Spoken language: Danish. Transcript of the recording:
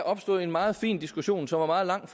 opstod en meget fin diskussion som var meget lang